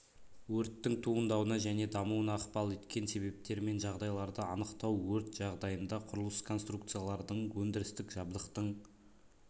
өрттің туындауына және дамуына ықпал еткен себептер мен жағдайларды анықтау өрт жағдайында құрылыс конструкциялардың өндірістік жабдықтың